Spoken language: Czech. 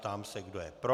Ptám se, kdo je pro.